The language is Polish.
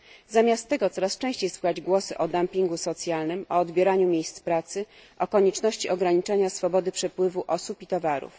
Zamiast tego coraz częściej słychać głosy o dumpingu socjalnym, o odbieraniu miejsc pracy, o konieczności ograniczania swobody przepływu osób i towarów.